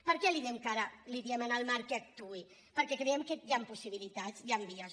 per què li diem ara en el marc que actuï perquè creiem que hi han possibilitats hi han vies